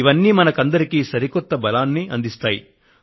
ఇవన్నీ మనకందరికీ సరికొత్త బలాన్ని అందిస్తాయి